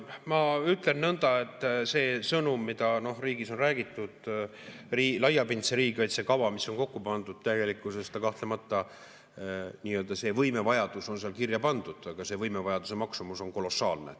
Ma ütlen nõnda, et see sõnum, mida riigis on räägitud, laiapindse riigikaitse kava, mis on kokku pandud, tegelikkuses kahtlemata see võimevajadus on seal kirja pandud, aga selle võimevajaduse maksumus on kolossaalne.